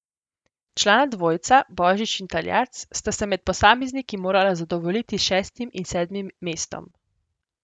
Člana dvojca Božič in Taljat sta se med posamezniki morala zadovoljiti s šestim in sedmim mestom.